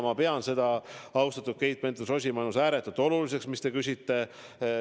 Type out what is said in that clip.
Ma pean seda, austatud Keit Pentus-Rosimannus, ääretult oluliseks, mis te küsite.